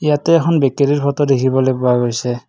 ইয়াতে এখন বিক্ৰীৰ ফটো দেখিবলৈ পোৱা গৈছে।